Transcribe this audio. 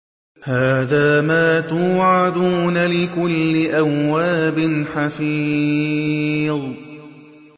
هَٰذَا مَا تُوعَدُونَ لِكُلِّ أَوَّابٍ حَفِيظٍ